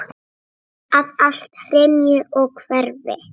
Að allt hrynji og hverfi.